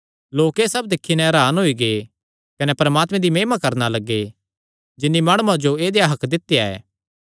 लोक एह़ सब दिक्खी नैं हरान होई गै कने परमात्मे दी महिमा करणा लग्गे जिन्नी माणुआं जो ऐदेया हक्क दित्या ऐ